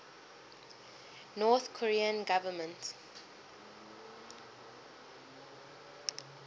north korean government